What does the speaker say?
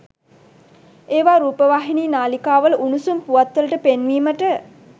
එවා රූපවාහිනි නාලිකා වල උණුසුම් පුවත් වලට පෙන්වීමට